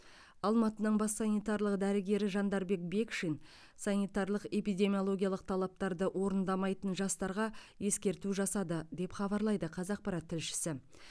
алматының бас санитарлық дәрігері жандарбек бекшин санитарлық эпидемиологиялық талаптарды орындамайтын жастарға ескерту жасады деп хабарлайды қазақпарат тілшісі